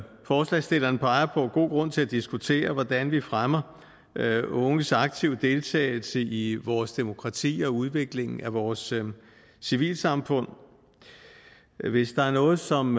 forslagsstillerne peger på god grund til at diskutere hvordan vi fremmer unges aktive deltagelse i vores demokrati og udviklingen af vores civilsamfund hvis der er noget som